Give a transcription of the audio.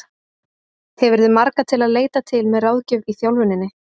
Hefurðu marga til að leita til með ráðgjöf í þjálfuninni?